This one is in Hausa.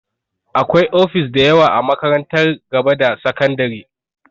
Akwai ofis dayawa a makarantar gaba da sakandare